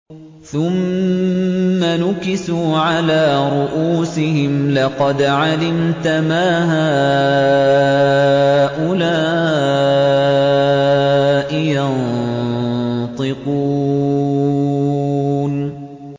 ثُمَّ نُكِسُوا عَلَىٰ رُءُوسِهِمْ لَقَدْ عَلِمْتَ مَا هَٰؤُلَاءِ يَنطِقُونَ